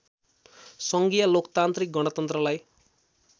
सङ्घीय लोकतान्त्रिक गणतन्त्रलाई